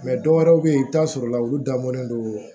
dɔwɛrɛw bɛ ye i bɛ t'a sɔrɔ la olu dabɔlen do